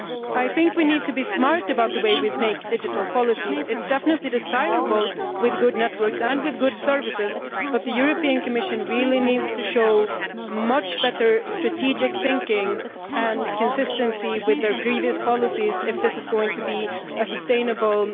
I think we need to be smart about the way we make digital policies. Such policies are definitely desirable with good networks and with good services, but the Commission really needs to show much better strategic thinking and consistency with their previous policies if this is going to be a sustainable